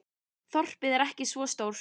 Þorpið er ekki svo stórt.